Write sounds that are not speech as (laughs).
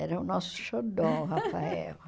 Era o nosso xodó, o Rafael. (laughs)